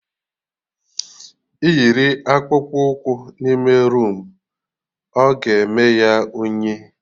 Ị yiri Akpụkpọ ụkwụ n'ime roomu, oga eme ya unyi